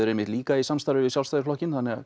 einmitt líka í samstarfi við Sjálfstæðisflokkinn þannig að